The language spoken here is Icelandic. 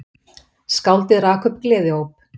Skáldið rak upp gleðióp.